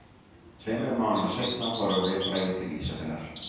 Tveimur mánuðum seinna fórum við Bragi til Ísafjarðar.